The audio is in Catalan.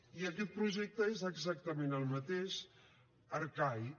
i aquest projecte és exactament el mateix arcaic